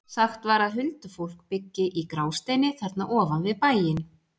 Sagt var að huldufólk byggi í Grásteini þarna ofan við bæinn.